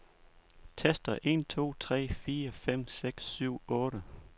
Tester en to tre fire fem seks syv otte.